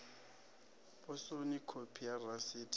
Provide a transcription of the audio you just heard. posoni khophi ya rasiti yo